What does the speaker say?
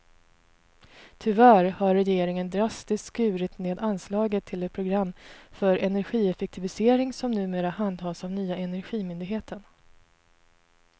Tyvärr har regeringen drastiskt skurit ned anslaget till det program för energieffektivisering som numera handhas av nya energimyndigheten.